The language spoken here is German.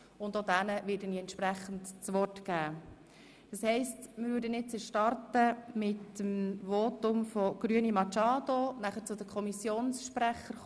Ich werde also auch den jeweiligen Mehrheits- und Minderheitsvertretern der SiK das Wort geben.